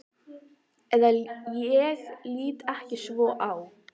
Eða ég lít ekki svo á.